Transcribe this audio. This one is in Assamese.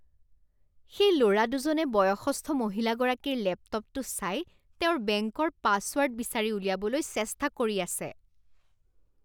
সেই ল'ৰা দুজনে বয়সস্থ মহিলাগৰাকীৰ লেপটপটো চাই তেওঁৰ বেংকৰ পাছৱৰ্ড বিচাৰি উলিয়াবলৈ চেষ্টা কৰি আছে।।